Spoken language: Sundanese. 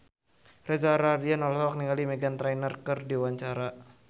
Reza Rahardian olohok ningali Meghan Trainor keur diwawancara